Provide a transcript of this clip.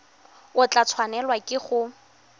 o tla tshwanelwa ke go